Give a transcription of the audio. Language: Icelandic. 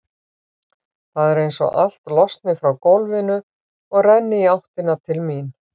Það er einsog allt losni frá gólfinu og renni í áttina til mín.